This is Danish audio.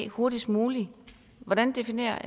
hurtigst muligt hvordan definerer